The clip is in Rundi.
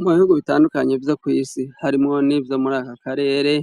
Mu bihugu bitandukanye vyo kw'isi, harimwo n'ivyo muri aka karere,